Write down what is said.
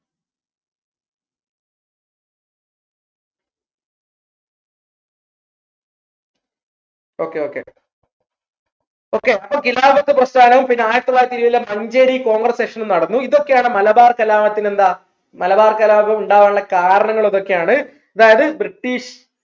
okay okay okay അപ്പം ഖിലാഫത്ത് പ്രസ്ഥാനവും പിന്നെ ആയിരത്തിത്തൊള്ളായിരത്തി ഏഴിലെ മഞ്ചേരി congress session ഉം നടന്നു ഇതൊക്കെയാണ് മലബാർ കലാപത്തിന്റെ എന്താ മലബാർ കലാപം ഉണ്ടാവാനുള്ള കാരണങ്ങൾ ഇതൊക്കെയാണ് അതായത് British